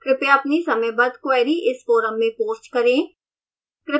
कृपया अपनी समयबद्ध queries इस forum में post करें